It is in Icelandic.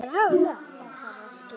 Þá þarf að skera.